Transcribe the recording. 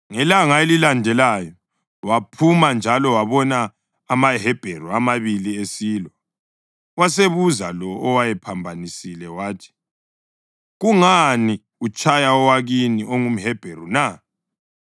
Ngelanga elilandelayo waphuma njalo wabona amaHebheru amabili esilwa. Wasebuza lo owayephambanisile wathi, “Kungani utshaya owakini ongumHebheru na?”